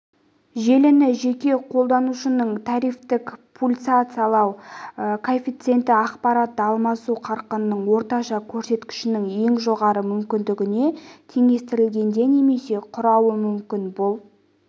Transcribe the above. желіні жеке қолданушының трафикті пульсациялау коэффиценті ақпаратты алмасу қарқынының орташа көрсеткішінің ең жоғары мүкіндігіне теңестірілгенде немесе құрауы мүмкін бұл